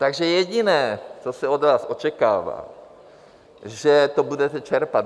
Takže jediné, co se od vás očekává, že to budete čerpat.